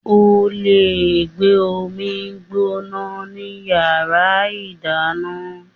O lè gbé omi gbóná ní Yàrá ìdáná.